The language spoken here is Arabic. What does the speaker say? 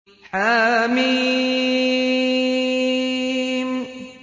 حم